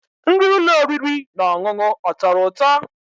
Nri ụlọ oriri na ọṅụṅụ ọ tọrọ ụtọ?